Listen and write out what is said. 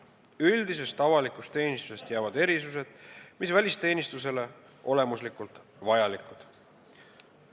Jäävad alles üldise avaliku teenistuse erisused, mis on välisteenistusele olemuslikult vajalikud.